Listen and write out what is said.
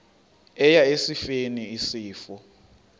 eya esifeni isifo